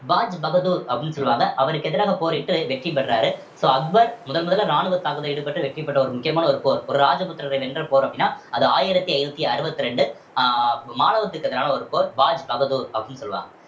பாஜ் பகதூர் அப்படின்னு சொல்லுவாங்க அவருக்கு எதிராக போரிட்டு வெற்றி பெறுறாரு so அக்பர் முதன் முதல்ல ராணுவ தாக்குதல்ல ஈடுபட்டு வெற்றி பெற்ற ஒரு முக்கியமான ஒரு போர் ஒரு ராஜபுத்திரரை வென்ற போர் அப்படின்னா அது ஆயிரத்தி ஐந்நூத்தி அறுபத்தி இரண்டு அஹ் மாலவத்திற்கு எதிரான ஒரு போர் பாஜ் பகதூர் அப்படின்னு சொல்லலாம்